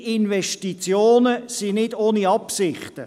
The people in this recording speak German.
Ihre Investitionen sind nicht ohne Absichten.